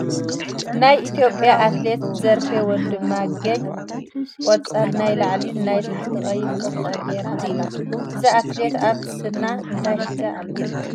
ናይ ኢትዮጵያ ኣትሌት ዘርፌ ወንድማገኝ ቆፃልናይ ላዕሊ ናይ ታሕቲ ቀይሕ ቁምጣ ጌራ ኣላ እዛ ኣትሌት ኣብ ስና እንታይ ሒዛ ኣላ ?